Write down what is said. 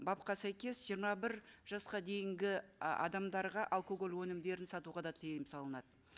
бапқа сәйкес жиырма бір жасқа дейінгі і адамдарға алкоголь өнімдерін сатуға да тыйым салынады